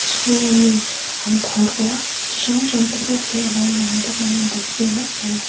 chhunga mi an phawrh ruah chi hrang hrang te pawh khi a lo lang bawk ani a bul velah khian.